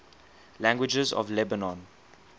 languages of lebanon